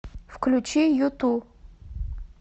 включи юту